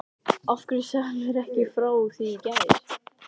Af hverju sagðirðu mér ekki frá því í gær?